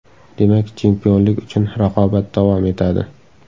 Demak, chempionlik uchun raqobat davom etadi.